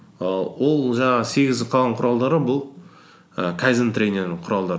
і ол жаңағы сегізі қалған құралдары бұл і кайдзен тренирінің құралдары